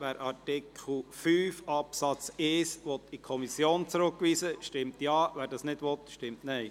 Wer Artikel 5 Absatz 1 in die Kommission zurückweisen will, stimmt Ja, wer dies ablehnt, stimmt Nein.